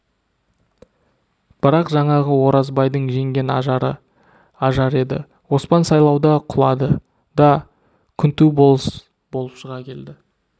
бірақ жаңағы оразбайлардың жеңген ажары ажар еді оспан сайлауда құлады да күнту болыс болып шыға келді